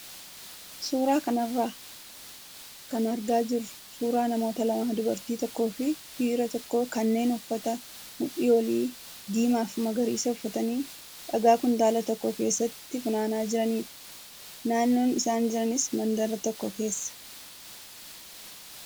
Suuraa kanarraa kan argaa jirru suuraa namoota lamaa dubartii tokkoo fi dhiira tokkoo kanneen uffata mudhii olii diimaa fi magariisa uffatanii dhagaa kuntaala tokko keessatti funaanaa jiranidha. Naannoon isaan jiranis mandara tokko keessadha.